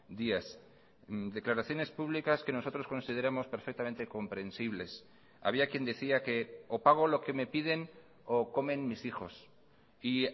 días declaraciones públicas que nosotros consideramos perfectamente comprensibles había quien decía que o pago lo que me piden o comen mis hijos y